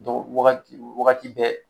wagati wagati bɛɛ